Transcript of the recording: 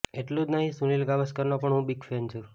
એટલું જ નહિ સુનીલ ગાવસ્કરનો પણ હું બિગ ફેન છું